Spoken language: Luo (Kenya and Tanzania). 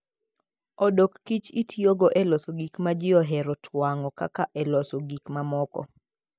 odok kich itiyogo e loso gik ma ji ohero twang'o kata e loso gik mamoko.